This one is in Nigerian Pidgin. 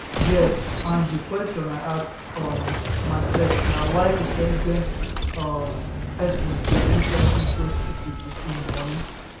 yes and di question i ask um myself na why intelligent um person dey do something so stupid wit im money